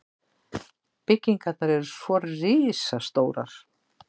Byggingarnar eru svo risastórar.